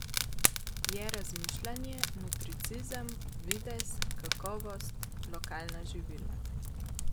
Je razmišljanje, nutricizem, videz, kakovost, lokalna živila.